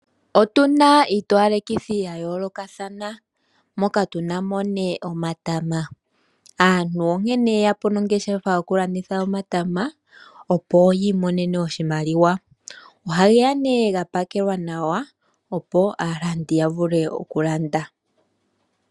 Otu na iitowalekithi ya yoolokathana, moka tu na mo omatama. Aantu onkene ye ya po nongeshefa yokulanditha omatama, opo yi imonene oshimaliwa. Ohage ya ga pakelwa nawa, opo aalandi ya vule okulanda.